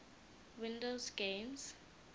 windows games